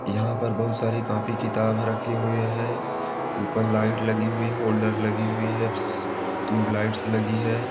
यहां पर बोहोत सारे कॉपी किताब रखे हुए है ऊपर लाइट लगी हुई होल्डर लगी हुई है ट्यूबलाइटस लगी है।